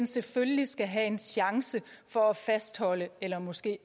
selvfølgelig skal have en chance for at fastholde eller måske